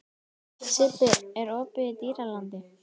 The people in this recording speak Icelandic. Sibbi, er opið í Dýralandi?